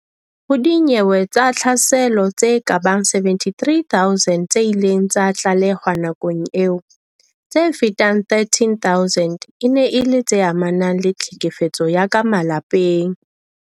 Ho dinyewe tsa tlhaselo tse kabang 73 000 tse ileng tsa tlalehwa nakong eo, tse fetang 13000 e ne e le tse amanang le tlhekefetso ya ka malapeng.